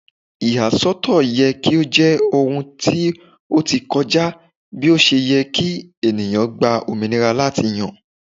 Iyasọtọ yẹ ki o jẹ ohun ti o ti kọja bi o ṣe yẹ ki eniyan gba ominira lati yan